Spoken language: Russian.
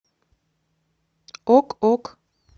ок ок